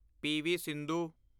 PV. Sindhu